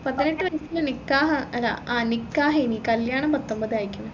പതിനെട്ട് വയസ്സിൽ നിക്കാഹാ അല്ല ആ നിക്കാഹെന് കല്യാണം പത്തൊമ്പതായിക്കിന്